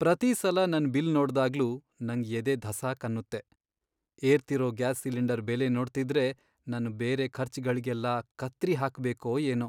ಪ್ರತೀ ಸಲ ನನ್ ಬಿಲ್ ನೋಡ್ದಾಗ್ಲೂ ನಂಗ್ ಎದೆ ಧಸಾಕ್ ಅನ್ನುತ್ತೆ. ಏರ್ತಿರೋ ಗ್ಯಾಸ್ ಸಿಲಿಂಡರ್ ಬೆಲೆ ನೋಡ್ತಿದ್ರೆ ನನ್ ಬೇರೆ ಖರ್ಚ್ಗಳ್ಗೆಲ್ಲ ಕತ್ರಿ ಹಾಕ್ಬೇಕೋ ಏನೋ.